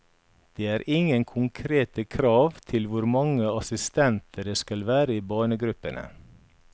Det er ingen konkrete krav til hvor mange assistenter det skal være i barnegruppene.